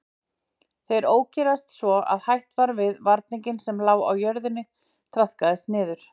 Þeir ókyrrðust svo að hætt var við að varningurinn sem lá á jörðinni traðkaðist niður.